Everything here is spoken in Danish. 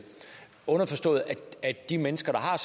underforstået at de mennesker der har